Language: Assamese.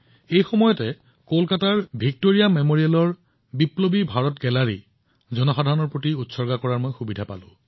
একেদিনাই মই কলকাতাৰ ভিক্টোৰিয়া মেমৰিয়েলত বিপ্লৱী ইণ্ডিয়া গেলেৰী জনসাধাৰণলৈ উৎসৰ্গা কৰাৰ সুযোগ পাইছিলো